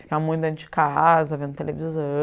Fica muito dentro de casa, vendo televisão.